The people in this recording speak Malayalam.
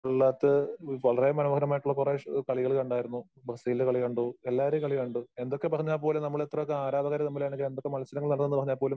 ഫുട്‍ബോളിനകത്ത് വളരെ മനോഹരമായിട്ടുള്ള കുറേ കളികള് കണ്ടായിരുന്നു. ബ്രസീലിന്റെ കളി കണ്ടു. എല്ലാവരടെ കളി കണ്ടു. എന്തൊക്കെ പറഞ്ഞാ പോലും നമ്മൾ ഇത്രയൊക്കെ ആരാധകര് തമ്മിലാണെങ്കിലും എന്തൊക്കെ മത്സരങ്ങൾ നടന്നെന്നു പറഞ്ഞാൽപോലും